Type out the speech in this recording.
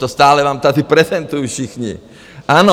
To stále vám tady prezentují všichni, ano?